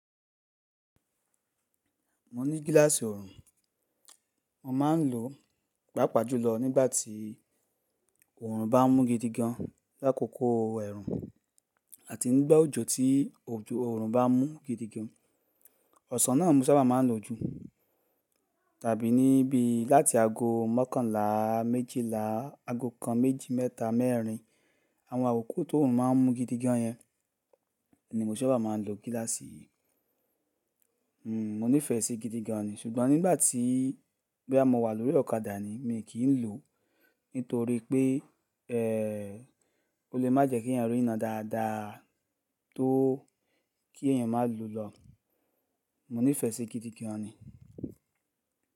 Mo ní gíláàsì ọrùn, mo máa ń lò, pàápàá jùlọ nígbà tí ọrùn bá ń mú gidigan l'akoko ẹ̀rùn àti nígbà òjò tí ọrùn bá ń mú gidigan. Ọ̀sán náà mo sábà máa ń lò ju tàbí níbí láti ago mọ́kànlá méjìlá, ago kan méjì, mẹ́ta, mẹ́rin àwọn àwòkó tó ọrùn má ń mú gidigan yẹn ni mo sábà máa ń lo gíláàsì. Hmm, mo nífẹ̀ẹ́ sí i gidigan ni, ṣùgbọ́n nígbà tí, bí a mo wà lórí ọ̀kadà ni mi kì í lò, nítorí pé, ẹẹ́, ó lè má jẹ́ kí èèyàn rí iná dáadáa tó kí èèyàn má lù lọ. Mo nífẹ̀ẹ́ sí i gidigan ni.